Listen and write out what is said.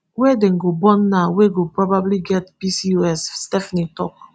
wey dem go born now wey go probably get pcos stephanie tok